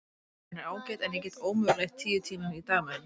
Biblían er ágæt en ég get ómögulega eytt tíu tímum á dag með henni.